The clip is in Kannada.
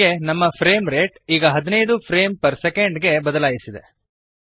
ಹೀಗೆ ನಮ್ಮ ಫ್ರೇಮ್ ರೇಟ್ ಈಗ 15 ಫ್ರೇಮ್ಸ್ ಪರ್ ಸೆಕೆಂಡ್ ಗೆ ಬದಲಾಯಿಸಿದೆ